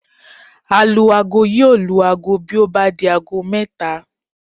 Alu-aago yóò lu aago bí ó bá di aago mẹ́ta